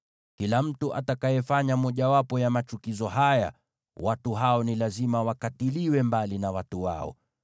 “ ‘Kila mtu atakayefanya mojawapo ya machukizo haya, watu hao ni lazima wakatiliwe mbali na watu wao.